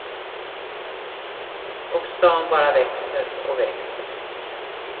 Och stan bara växer och växer.